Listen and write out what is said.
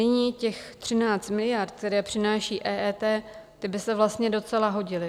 Nyní těch 13 miliard, které přináší EET, ty by se vlastně docela hodily.